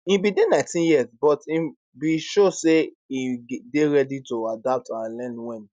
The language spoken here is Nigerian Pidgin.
im bin dey 19 years but im bin show say im dey ready to adapt and learn wen